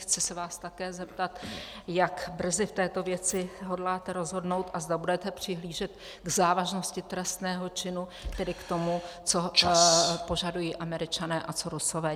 Chci se vás také zeptat, jak brzy v této věci hodláte rozhodnout a zda budete přihlížet k závažnosti trestného činu, tedy k tomu , co požadují Američané a co Rusové.